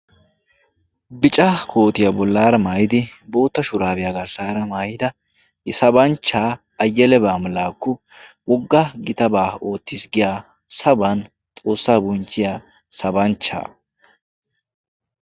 bica kootiyaa bollaara maayidi bootta shuraabiyaa garssaara maayida i sabanchchaa ayyele baamlaakku wogga gitabaa oottiis giya saban xoossaa buncciya sabanchchaa